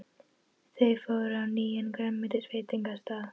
Þau fóru á nýjan grænmetisveitingastað.